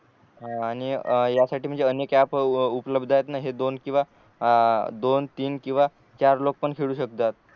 आणि यासाठी म्हणजे अनेक ऍप उपलब्ध आहेत न हे दोन किंवा अ दोन तीन किंवा चार लोग पण खेळू शकतात